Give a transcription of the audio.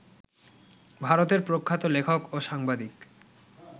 ভারতের প্রখ্যাত লেখক ও সাংবাদিক